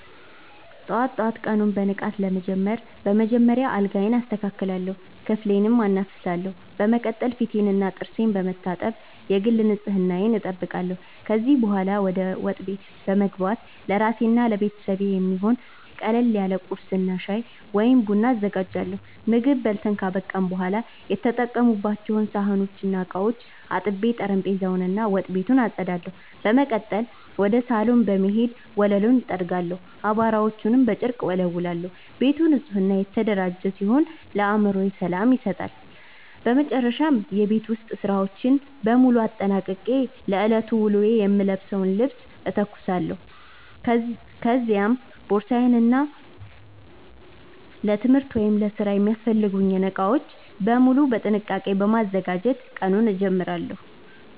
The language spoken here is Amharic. ጠዋት ጠዋት ቀኑን በንቃት ለመጀመር በመጀመሪያ አልጋዬን አስተካክላለሁ፣ ክፍሌንም አናፍሳለሁ። በመቀጠል ፊቴንና ጥርሴን በመታጠብ የግል ንጽህናዬን እጠብቃለሁ። ከዚያ በኋላ ወደ ወጥ ቤት በመግባት ለራሴና ለቤተሰቤ የሚሆን ቀለል ያለ ቁርስ እና ሻይ ወይም ቡና አዘጋጃለሁ። ምግብ በልተን ካበቃን በኋላ የተጠቀሙባቸውን ሳህኖችና ዕቃዎች አጥቤ፣ ጠረጴዛውን እና ወጥ ቤቱን አጸዳለሁ። በመቀጠል ወደ ሳሎን በመሄድ ወለሉን እጠርጋለሁ፣ አቧራዎችንም በጨርቅ እወለውላለሁ። ቤቱ ንጹህና የተደራጀ ሲሆን ለአእምሮ ሰላም ይሰጣል። በመጨረሻም የቤት ውስጥ ሥራዎችን በሙሉ አጠናቅቄ ለዕለቱ ውሎዬ የምለብሰውን ልብስ እተኩሳለሁ፤ ከዚያም ቦርሳዬን እና ለትምህርት ወይም ለሥራ የሚያስፈልጉኝን ዕቃዎች በሙሉ በጥንቃቄ በማዘጋጀት ቀኑን እጀምራለሁ።